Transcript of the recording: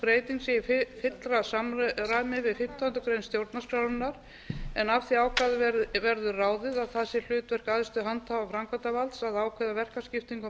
fimmtándu grein stjórnarskrárinnar en af því ákvæði verður ráðið að það sé hlutverk æðstu handhafa framkvæmdarvalds að ákveða verkaskiptingu á